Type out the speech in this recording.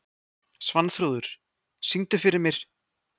Svanþrúður, syngdu fyrir mig „Meira En Nóg“.